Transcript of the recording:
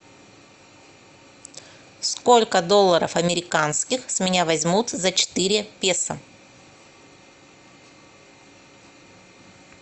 сколько долларов американских с меня возьмут за четыре песо